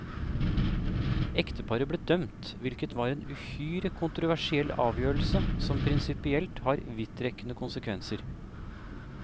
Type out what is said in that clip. Ekteparet ble dømt, hvilket var en uhyre kontroversiell avgjørelse som prinsippielt har vidtrekkende konsekvenser.